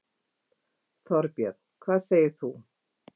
Þorbjörn: Hvað segir þú?